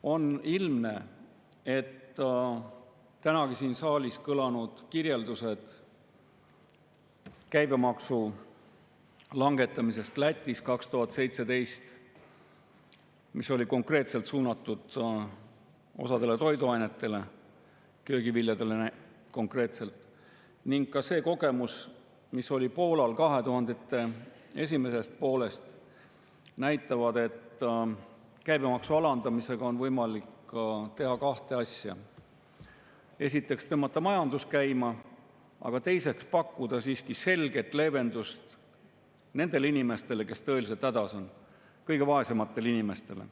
On ilmne, et tänagi siin saalis kõlanud kirjeldused käibemaksu langetamisest Lätis 2017, mis oli suunatud osale toiduainetele, köögiviljadele konkreetselt, ning ka see kogemus, mis oli Poolal 2000‑ndate esimesest poolest, näitavad, et käibemaksu alandamisega on võimalik teha kahte asja: esiteks, tõmmata majandus käima, aga teiseks pakkuda siiski selget leevendust nendele inimestele, kes tõeliselt hädas on, kõige vaesematele inimestele.